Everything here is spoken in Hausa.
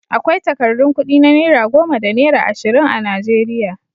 Akwai takardun kuɗi na naira goma da naira ashirin a Najeriya.